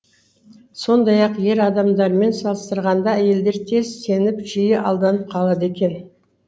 сондай ақ ер адамдармен салыстырғанда әйелдер тез сеніп жиі алданып қалады екен